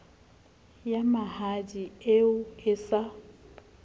ya mahadi eo e sa